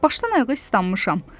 Başdan ayağa islanmışam.